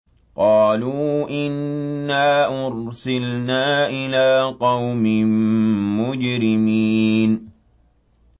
قَالُوا إِنَّا أُرْسِلْنَا إِلَىٰ قَوْمٍ مُّجْرِمِينَ